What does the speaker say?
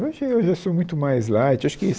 Hoje eu já sou muito mais light, acho que